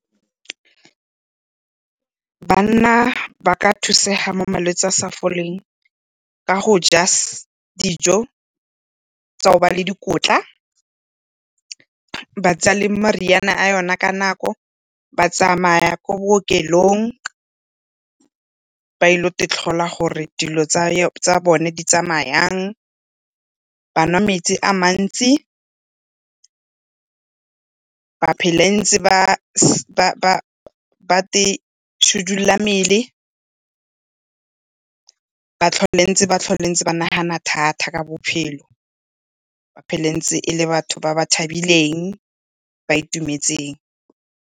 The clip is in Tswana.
Banna ba ka thusega mo malwetsi a a sa foleng ka go ja dijo tsa hoba le dikotla, ba tsaya le meriana a yona ka nako, ba tsamaya kwa bookelong ba ile go itlhola gore dilo tsa bone di tsamaya jang. Ba nwa metsi a mantsi ba phela ntse ba itshidila mmele, ba tlhole ntse ba nagana thata ka bophelo, ba phele e ntse e le batho ba ba thabileng ba itumetseng.